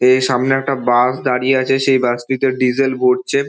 এর সামনে একটা বাস দাঁড়িয়ে আছে সে বাস -টিতে ডিজেল ভরছে।